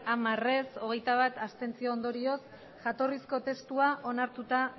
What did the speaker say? hamar abstentzioak hogeita bat ondorioz jatorrizko testua onartuta